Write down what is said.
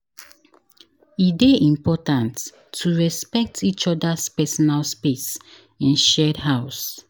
E dey important to respect each other’s personal space in shared house.